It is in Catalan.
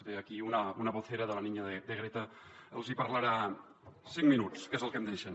bé aquí una vocera de la niña de greta els hi parlarà cinc minuts que és el que em deixen